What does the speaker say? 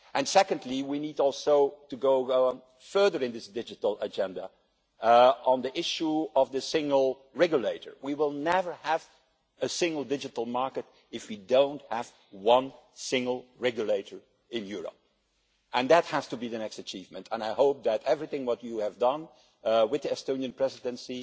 Secondly, we also need to go further in this digital agenda on the issue of the single regulator. We will never have a single digital market if we do not have a single regulator in Europe. That has to be the next achievement, and I hope that everything you have done with the Estonian Presidency